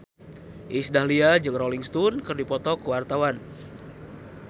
Iis Dahlia jeung Rolling Stone keur dipoto ku wartawan